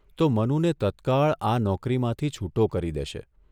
તો મનુને તત્કાળ આ નોકરીમાંથી છુટો કરી દેશે.